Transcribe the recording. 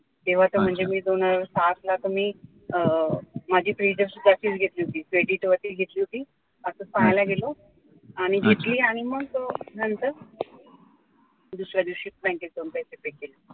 तेव्हा तर म्हणजे मी दोन हजार पाचला तर मी अं माझी घेतली होती credit वरतीच घेतली होती असं पाहायला गेलो आणि घेतली आणि मग नंतर दुसऱ्या दिवशी बँकेत जाऊन पैसे pay केले